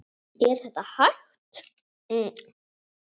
Er þetta hægt?